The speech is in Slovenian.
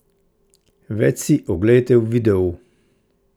Več si oglejte v videu!